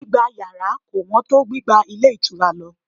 Gbígba yàrá kò wón tó gbígba ilé ìtura lọ